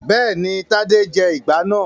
Bẹ́ẹ̀ni, Tadé jẹ ìgbá náà.